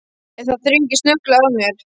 En það þrengir snögglega að mér.